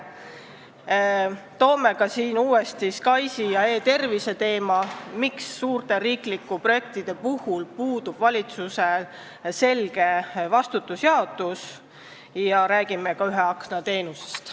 Tõstatame uuesti SKAIS2 ja e-tervise teema, küsime, miks suurte riiklike projektide puhul puudub valitsuse vastutuse selge jaotus, ja räägime nn ühe akna teenusest.